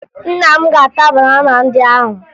Nna m ga-ata banana ndị ahụ